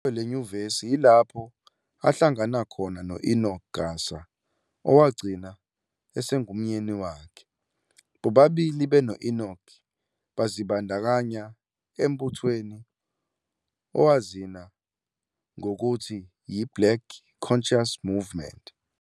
Kuyo lenyuvesi ilapho ahlangana khona noEnoch Gasa owagcina esengumyeni wakhe. bobabili beno Enoch bazibandakanya embuthweni owazina ngokuthi yi-"Black Concious Movement.